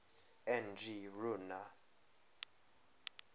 n g rjuna